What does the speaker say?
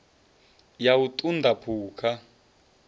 ya u ṱun ḓa phukha